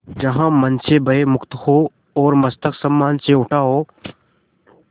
जहाँ मन भय से मुक्त हो और मस्तक सम्मान से उठा हो